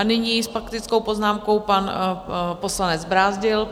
A nyní s faktickou poznámkou pan poslanec Brázdil.